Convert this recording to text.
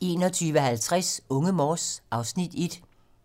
21:50: Unge Morse (Afs. 1)